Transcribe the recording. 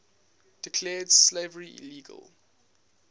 declared slavery illegal